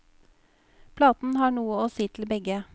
Platen har noe å si til begge.